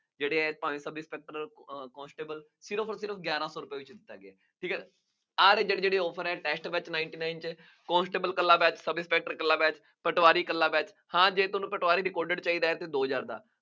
ਜਿਹੜੇ ਇਹ ਭਾਵੇਂ sub inspector, constable, ਸਿਰਫ ਅੋਰ ਸਿਰਫ ਗਿਆਰਾਂ ਸੌ ਰੁਪਏ ਵਿੱਚ ਹੁੰਦਾ ਹੈ। ਠੀਕ ਹੈ, ਆਹ ਵਾਲੇ ਜਿਹੜੇ ਜਿਹੜੇ offer ਹੈ, ਵਿੱਚ ninety nine ਦੇ, constable ਇਕੱਲਾ batch, sub inspector ਇਕੱਲਾ batch, ਪਟਵਰੀ ਇਕੱਲਾ batch, ਹਾਂ ਜੇ ਤੁਹਾਨੂੰ ਪਟਵਾਰੀ ਦੀ ਚਾਹੀਦਾ ਤਾਂ ਦੋ ਹਜ਼ਾਰ ਦਾ